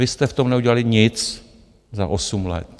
Vy jste v tom neudělali nic za osm let.